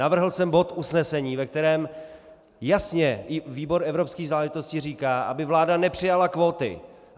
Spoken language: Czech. Navrhl jsem bod usnesení, ve kterém jasně i výbor evropských záležitostí říká, aby vláda nepřijala kvóty.